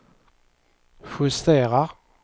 justera